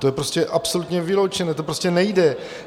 To je prostě absolutně vyloučené, to prostě nejde.